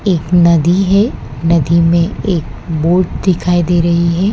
एक नदी है नदी में एक बोट दिखाई दे रही है।